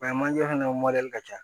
manje fana mɔdɛli ka ca